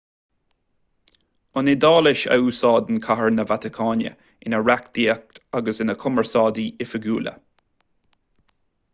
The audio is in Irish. an iodáilis a úsáideann cathair na vatacáine ina reachtaíocht agus ina cumarsáidí oifigiúla